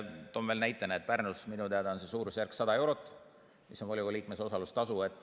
Toon veel näiteks, et Pärnus on see suurusjärk minu teada 100 eurot, mis on volikogu liikme osalustasu.